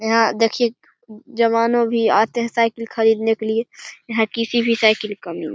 यहाँ देखिये जवानों भी आते हैं साइकिल खरीदने के लिए यहाँ किसी भी साइकिल की कमी नहीं।